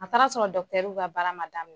A taara sɔrɔ w ka baara ma dam